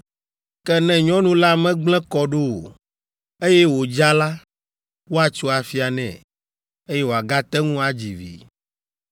Ke ne nyɔnu la megblẽ kɔ ɖo o, eye wòdza la, woatso afia nɛ, eye wòagate ŋu adzi vi.